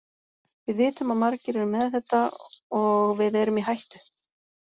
Við vitum að margir eru með þetta og við erum í hættu.